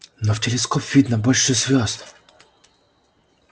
но в телескоп видно больше звёзд